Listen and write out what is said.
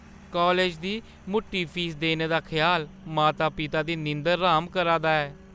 College दी मुट्टी fees देने दा ख्याल माता-पिता दी नींदर र्‌हाम करा दा ऐ।